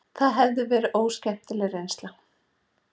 Það hefði verið óskemmtileg reynsla.